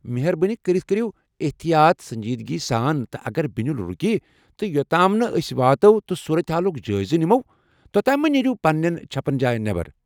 مہربٲنی کٔرتھ کٔرو احتیاط سنجیدگی سان تہٕ اگر بنیُل رُکہِ تہ، یوٚتام نہٕ أسۍ واتو تہٕ صورت حالُک جٲیزٕ نِمو توتام مہٕ نیرِیو پننہِ چھپن جاین نیبر ۔